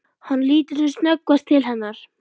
Hann lítur sem snöggvast til hennar.